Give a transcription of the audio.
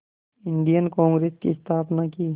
Indian Congress की स्थापना की